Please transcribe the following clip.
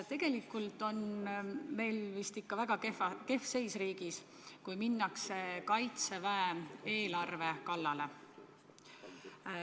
Tegelikult on meil riigis vist ikka väga kehv seis, kui minnakse Kaitseväe eelarve kallale.